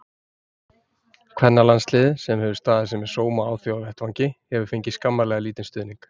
Kvennalandsliðið, sem hefur staðið sig með sóma á alþjóðavettvangi, hefur fengið skammarlega lítinn stuðning.